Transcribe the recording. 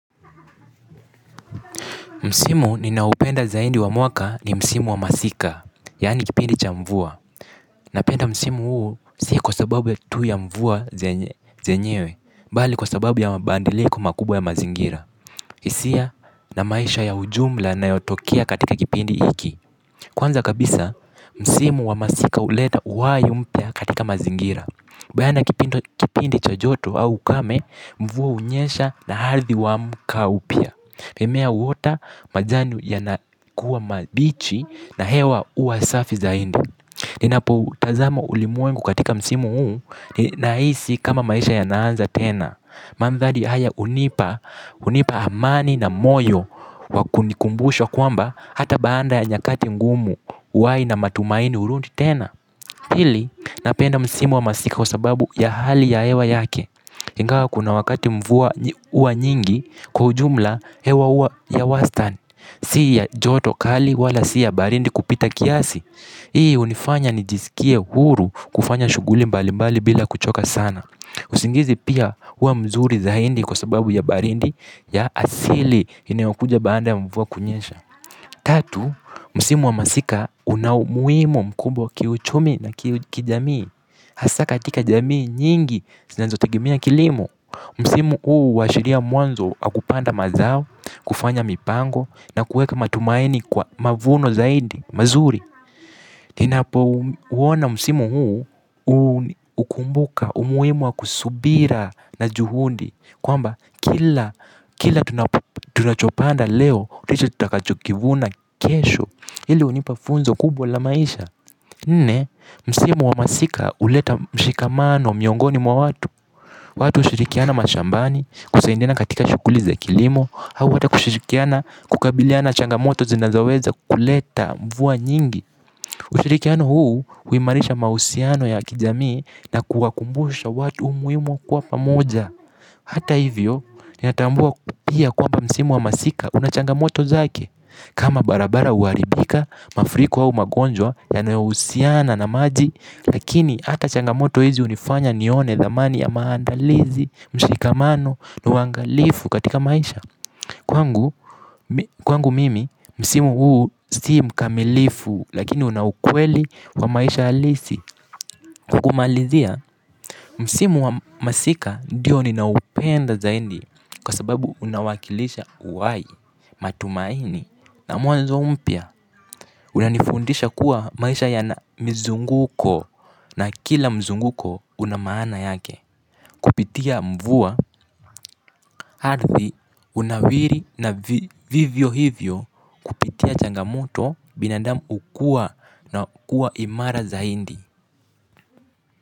Msimu ninaoupenda zaidi wa mwaka ni msimu wa masika, yaani kipindi cha mvua. Napenda. Msimu huo si kwa sababu ya tu ya mvua zenyewe, bali kwa sababu ya mabandiliko makubwa ya mazingira. Isia na maisha ya ujumla yana yotokea katika kipindi hiki. Kwanza kabisa, Msimu wa masika huleta uhai mpya katika mazingira. Baada ya kipindo kipindi cha joto au ukame, mvua hunyesha na hardhi huamka upya. Mimea huota majanu ya nakuwa mabichi na hewa uwasafi zaindi. Ninapo utazama ulimwengu katika msimu uu na hisi kama maisha ya naanza tena. Mandhari haya unipa hunipa hamani na moyo wakunikumbusha kwamba hata baanda ya nyakati ngumu uhai na matumaini hurudi tena pili napenda msimu wa masika kwa sababu ya hali ya hewa yake. Ingawa kuna wakati mvua uwa nyingi kwa ujumla hewa huwa ya wastan. Si ya joto kali wala si ya barindi kupita kiasi. Hii hunifanya nijisikie huru kufanya shughuli mbali mbali bila kuchoka sana. Usingizi pia huwa mzuri za hindi kwa sababu ya barindi ya asili inayokuja baanda ya mvua kunyesha. Tatu, msimu wa masika unaumuhimo mkubwa kiuchumi na kijamii. Hasa ka atika jamii nyingi sinazo tegemea kilimo. Msimu huu uwashiria mwanzo wakupanda mazao. Kufanya mipango na kuweka matumaini kwa mavuno zaidi mazuri. Ninapo uona msimu huu hukumbuka umuhimu wa kusubira na juhundi. Kwamba kila kila tunachopanda leo ndicho tutakachokivuna kesho. Hili hunipa funzo kubwa la maisha. Nne, msimu wa masika huleta mshikamaano miongoni mwa watu. Watu hushirikiana mashambani kusaidiana katika shughuliza kilimo. Hau hata kushirikiana kukabiliana changamoto zinazoweza kuleta mvua nyingi. Ushirikiano huu huimarisha mahusiano ya kijamii na kuwakumbusha watu umuhimu wa kuwapamoja. Hata hivyo, ni natambua pia kwamba msimu wa masika unachanga moto zake. Kama barabara huharibika, mafriko au magonjwa yanayohusiiana na maji, lakini hata changamoto hizi hunifanya nione dhamani ya maandalizi, mshikamano, na uangalifu katika maisha. Kwangu kwangu mimi, msimu huu si mkamilifu, lakini unaukweli wa maisha alisi. Kwa kumalizia, msimu wa masika diyo ninaoupenda zaindi kwa sababu unawakilisha uhai matumaini. Na mwanzo mpya. Unanifundisha kuwa maisha ya na mizunguko na kila mzunguko unamaana yake. Kupitia mvua ardhi hunawiri na vivyo hivyo. Kupitia changamoto binadamu ukua na kuwa imara zaindi.